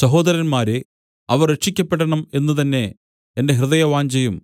സഹോദരന്മാരേ അവർ രക്ഷിയ്ക്കപ്പെടണം എന്നുതന്നെ എന്റെ ഹൃദയവാഞ്ഛയും